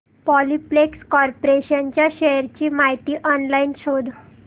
Polyplex corporation च्या shares ची माहिती ऑनलाइन शोध